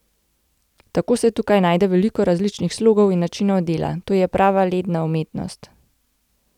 Tako se tukaj najde veliko različnih slogov in načinov dela, to je prava ledna umetnost.